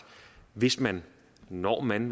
hvis man når man